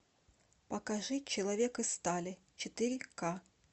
покажи человек из стали четыре к